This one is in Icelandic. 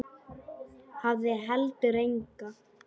Hafði heldur enga.